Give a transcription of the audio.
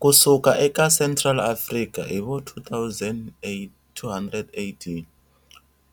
Ku suka eka Central Afrika hi vo 200AD,